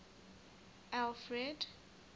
alfred